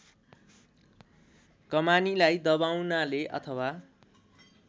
कमानीलाई दबाउनाले अथवा